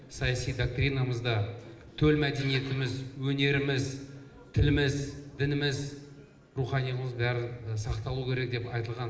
саяси доктринамызда төл мәдениетіміз өнеріміз тіліміз дініміз руханилығымыз барлығы сақталуы керек деп айтылған